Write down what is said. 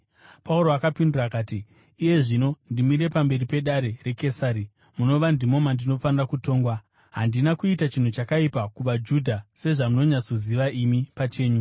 Pauro akapindura akati, “Iye zvino ndimire pamberi pedare raKesari, munova ndimo mandinofanira kutongwa. Handina kuita chinhu chakaipa kuvaJudha, sezvamunonyatsoziva imi pachenyu.